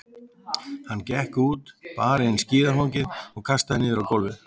Hann gekk út, bar inn skíðafangið og kastaði niður á gólfið.